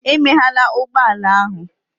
Emeghela ụgbọ ala ahụ!